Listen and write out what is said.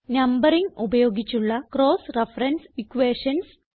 numbering ഉപയോഗിച്ചുള്ള cross reference equations